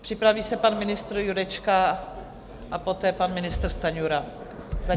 Připraví se pan ministr Jurečka a poté pan ministr Stanjura.